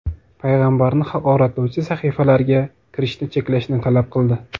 payg‘ambarni haqoratlovchi sahifalarga kirishni cheklashni talab qildi.